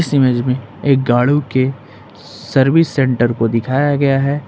Image में एक गाड़ी के सर्विस सेंटर को दिखाया गया है।